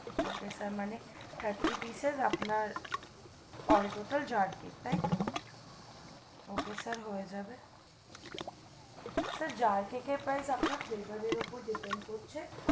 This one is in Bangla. ok sir মানে thirty pieces আপনার all total jar cake তাই তো ok sir হয়ে যাবে sir jar cake এর price আপনার flavor এর উপর dipend করছে